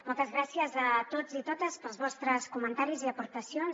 moltes gràcies a tots i totes pels vostres comentaris i aportacions